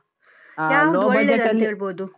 ಹೇಳ್ಬೋದು ?